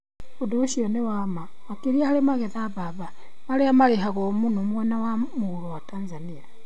Ũndũ ũcio nĩ wa ma makĩria harĩ magetha mbamba, marĩa marĩhagwo mũno mwena wa mũhuro wa Tanzania.